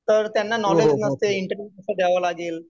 तर त्यांना नॉलेज नसते. इंटरव्यू सुद्धा द्यावा लागेल.